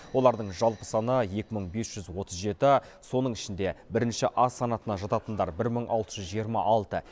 олардың жалпы саны екі мың бес жүз отыз жеті соның ішінде бірінші а санатына жататындар бір мың алты жүз жиырма алты